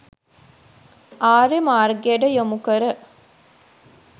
ආර්ය මාර්ගයට යොමු කර